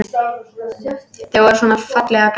Þau voru svona fallega græn!